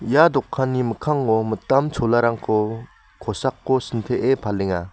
ia dokanni mikkango mitam cholarangko kosako sintee palenga.